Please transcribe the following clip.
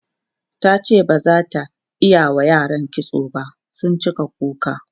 tace bazata iyawa yara kitso ba sun cika kuka.